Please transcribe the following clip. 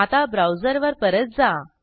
आता ब्राउझर वर परत जा